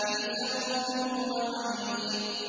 فِي سَمُومٍ وَحَمِيمٍ